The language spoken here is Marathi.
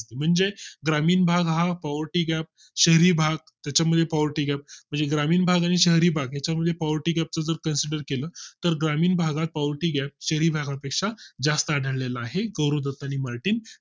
म्हणजे ग्रामीण भागा poverty gap शहरी भाग त्याच्या मध्ये poverty gap म्हणजे ग्रामीण भाग आणि शहरी भाग याच्या मध्ये poverty gap च जर consider केलंय तर ग्रामीण भागा मध्ये poverty gap शहरी भागापेक्षा कोटी जास्त आढळलेला आहे गौरव दत्त आणि मार्टिन